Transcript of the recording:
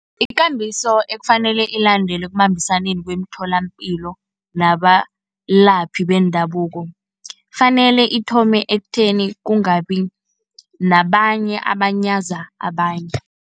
Ikambiso ekufanele ilandelwe ekubambisaneni kweemtholampilo nabalaphi bendabuko , fanele ithome ekutheni, kungabi nabanye abanyaza abanye.